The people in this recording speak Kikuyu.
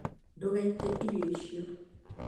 Ndũgaĩte irio icio